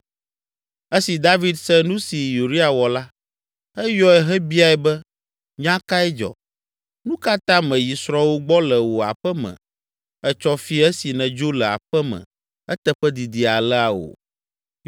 Esi David se nu si Uria wɔ la, eyɔe hebiae be, “Nya kae dzɔ? Nu ka ta mèyi srɔ̃wò gbɔ le wò aƒe me etsɔ fiẽ esi nèdzo le aƒe me eteƒe didi alea o?”